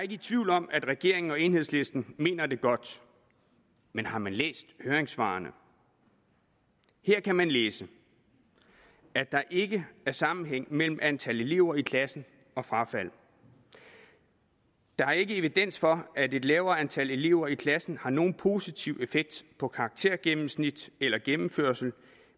i tvivl om at regeringen og enhedslisten mener det godt men har man læst høringssvarene her kan man læse at der ikke er sammenhæng mellem antal elever i klassen og frafald der er ikke evidens for at et lavere antal elever i klassen har nogen positiv effekt på karaktergennemsnit eller gennemførsel